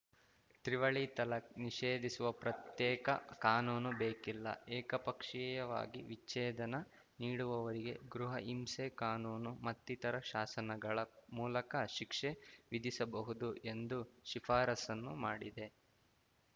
ತ್ರಿವಳಿ ತಲಾಖ್‌ ನಿಷೇಧಿಸುವ ಪ್ರತ್ಯೇಕ ಕಾನೂನು ಬೇಕಿಲ್ಲ ಏಕಪಕ್ಷೀಯವಾಗಿ ವಿಚ್ಛೇದನ ನೀಡುವವರಿಗೆ ಗೃಹ ಹಿಂಸೆ ಕಾನೂನು ಮತ್ತಿತರ ಶಾಸನಗಳ ಮೂಲಕ ಶಿಕ್ಷೆ ವಿಧಿಸಬಹುದು ಎಂದು ಶಿಫಾರಸ್ಸನ್ನು ಮಾಡಿದೆ